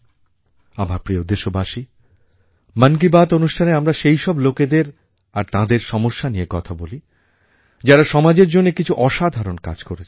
আমার প্রিয় দেশবাসী মন কি বাত অনুষ্ঠানে আমরা সেইসব লোকেদের আর তাঁদের সমস্যা নিয়ে কথা বলি যাঁরা সমাজের জন্য কিছু আসাধারণ কাজ করছেন